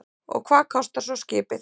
Og hvað kostar svo skipið?